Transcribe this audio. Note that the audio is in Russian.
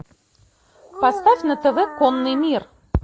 поставь на тв конный мир